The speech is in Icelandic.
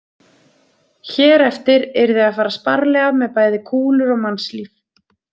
Hér eftir yrði að fara sparlega með bæði kúlur og mannslíf.